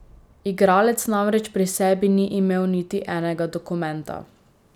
Igralec namreč pri sebi ni imel niti enega dokumenta.